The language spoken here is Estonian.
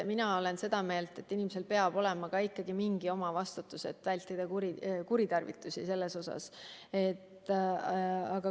Mina olen seda meelt, et inimesel peab olema ka mingi omavastutus ja me peame vältima selles osas kuritarvitusi.